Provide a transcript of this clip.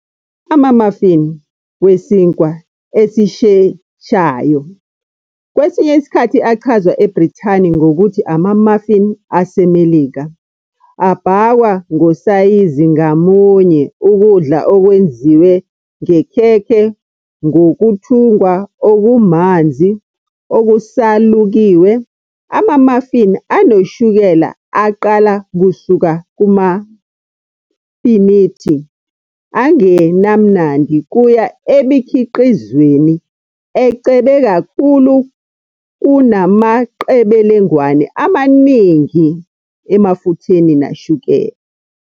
Ama-muffin wesinkwa esisheshayo, kwesinye isikhathi achazwa eBrithani ngokuthi "ama-muffin aseMelika", abhakwa, ngosayizi ngamunye, ukudla okwenziwe ngekhekhe ngokuthungwa "okumanzi, okusalukiwe". Ama-muffin anoshukela aqala kusuka kumafinithi angenamnandi kuya emikhiqizweni "ecebe kakhulu kunamaqebelengwane amaningi emafutheni nashukela."